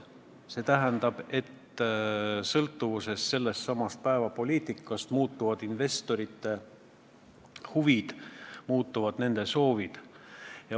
See tähendab, et sellesama päevapoliitika tõttu muutuvad investorite huvid, muutuvad nende soovid.